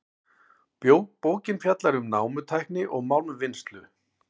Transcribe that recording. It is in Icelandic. Bókin fjallar um námutækni og málmvinnslu.